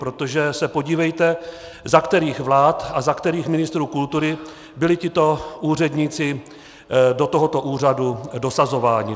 Protože se podívejte, za kterých vlád a za kterých ministrů kultury byli tito úředníci do tohoto úřadu dosazováni.